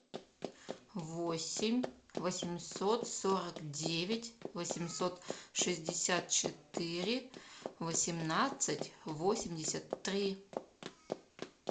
восемь восемьсот сорок девять восемьсот шестьдесят четыре восемнадцать восемьдесят три